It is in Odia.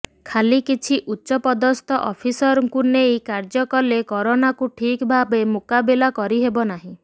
ଖାଲି କିଛି ଉଚ୍ଚପଦସ୍ଥ ଅଫିସରଙ୍କୁ ନେଇ କାର୍ଯ୍ୟ କଲେ କରୋନାକୁ ଠିକ୍ ଭାବେ ମୁକାବିଲା କରିହେବ ନାହିଁ